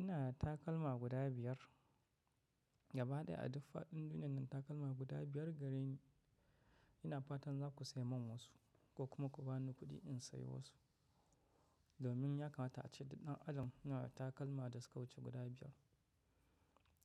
Ina da takalma guda biyar gaba ɗaya a duk faɗin duniyannan takalma guda biyar gareni. Ina fatan zaku saimin wasu, ko kuma ku bani kuɗi in sayi wasu. Domin ya kamata ace duk ɗan adam yana da takalma da suka wuce guda biyar.